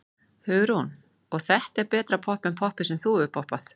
Hugrún: Og er þetta betra popp en poppið sem þú hefur poppað?